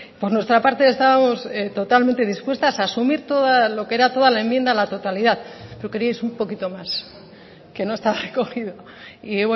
por nuestra parte estábamos totalmente dispuestas a asumir lo que era toda la enmienda a la totalidad lo queríais un poquito más que no está recogido y